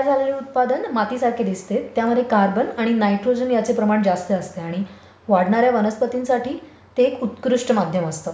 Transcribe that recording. हे तयार झालेले उत्पादन मातीसारखे दिसते. त्यामध्ये कार्बन आणि नायट्रोजनचे प्रमाण जास्त असते आणि वाढणार् या वनस्पतींसाठी ते उत्कृष्ट माध्यम असते.